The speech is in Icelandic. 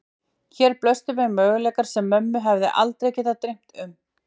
Hér blöstu við möguleikar sem mömmu hefði aldrei getað dreymt um.